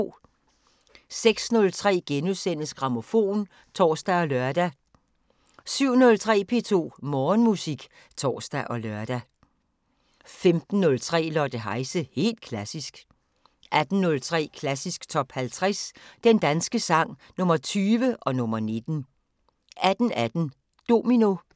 06:03: Grammofon *(tor og lør) 07:03: P2 Morgenmusik (tor og lør) 15:03: Lotte Heise – helt klassisk 18:03: Klassisk Top 50 Den danske sang – Nr. 20 og nr. 19 18:18: Domino